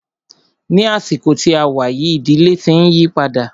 Ní àsìkò tí a wá yìí, ìdílé tí ń yípadà.